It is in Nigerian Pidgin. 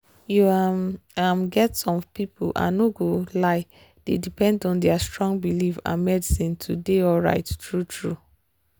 you um um get some people i no go lie dey depend on their strong belief and medicine to dey alright true-true